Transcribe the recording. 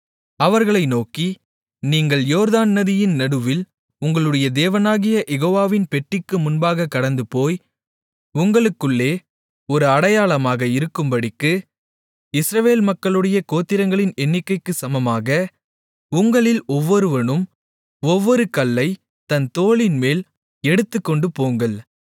அவர்களை நோக்கி நீங்கள் யோர்தான் நதியின் நடுவில் உங்களுடைய தேவனாகிய யெகோவாவின் பெட்டிக்கு முன்பாகக் கடந்துபோய் உங்களுக்குள்ளே ஒரு அடையாளமாக இருக்கும்படிக்கு இஸ்ரவேல் மக்களுடைய கோத்திரங்களின் எண்ணிக்கைக்குச் சமமாக உங்களில் ஒவ்வொருவனும் ஒவ்வொரு கல்லைத் தன் தோளின்மேல் எடுத்துக்கொண்டுபோங்கள்